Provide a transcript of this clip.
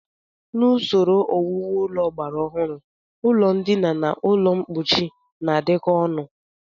N'usoro owuwu ụlọ ọgbara ọhụụ, ụlọndina na ụlọmkpochi na-adịkọ ọnụ